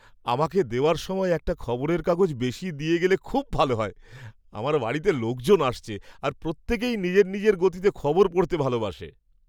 আমাকে দেওয়ার সময় একটা খবরের কাগজ বেশি দিয়ে গেলে খুব ভালো হয়! আমার বাড়িতে লোকজন আসছে আর প্রত্যেকেই নিজের নিজের গতিতে খবর পড়তে ভালোবাসে।